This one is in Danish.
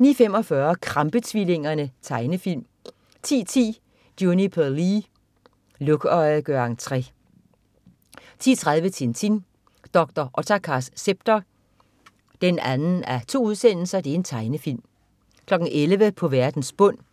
09.45 Krampe-tvillingerne. Tegnefilm 10.10 Juniper Lee. Lukøje gør entre 10.30 Tintin. Dr. Ottakars scepter 2:2. Tegnefilm 11.00 På verdens bund 1:3.